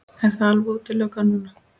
Er það alveg útilokað núna?